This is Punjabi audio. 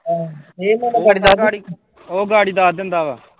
ਓਹ ਗਾੜੀ ਦੱਸ ਦਿੰਦਾ ਵਾ।